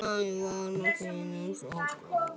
Nærvera þín var svo góð.